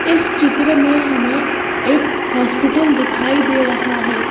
इस चित्र में हमें एक हॉस्पिटल दिखाई दे रहा है।